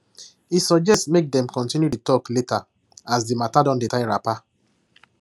he suggest say make dem continue the talk later as the matter don dey tie wrapper